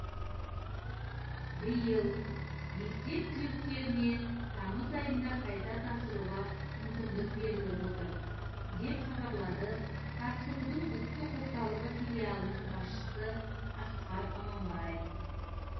биыл мектеп түлектеріне тамыз айында қайта тапсыруға мүмкіндік беріліп отыр деп хабарлады тапсырудың ұлттық орталығы филалының басшысы асқар аманбаев